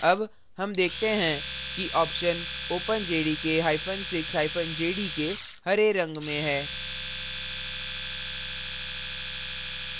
अब हम देखते हैं कि option openjdk6jdk हरे रंग में है